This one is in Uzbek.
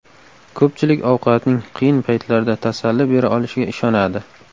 Ko‘pchilik ovqatning qiyin paytlarda tasalli bera olishiga ishonadi.